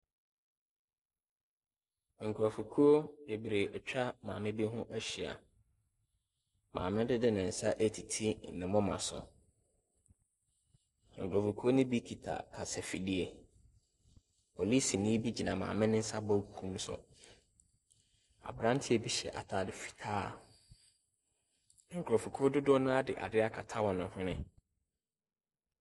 Nkurɔfokuo bebree atwa maame bi ho ahyia. Maameno de ne nsa retiti ne moma so. Nkurɔfokuo no bi kita kasafidie. Polisini bi gyinaa maame no nsa benkum so. Aberanteɛ bi hyɛ atade fitaa. Nkurɔfokuo dodonoara de adeɛ akata wɔn hwene.